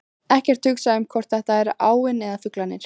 Ekkert hugsa um hvort þetta er áin eða fuglarnir.